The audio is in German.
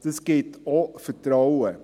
Dies gibt auch Vertrauen.